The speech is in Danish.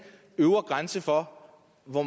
øvre grænse for hvor